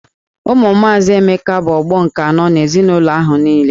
Ụmụ maazị Emeka bụ ọgbọ nke anọ n'ezinụlọ ahụ niile.